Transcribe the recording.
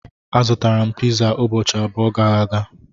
Azụtara m piza ụbọchị abụọ gara aga.